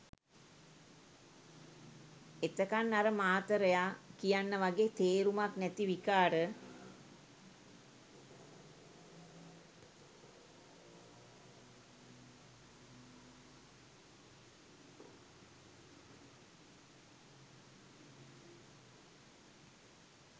එතකන් අර මාතරයා කියන්න වගෙ තේරුමක් නැති විකාර